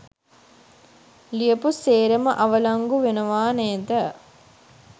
ලියපු සේරම අවලංගු වෙනවා නේද?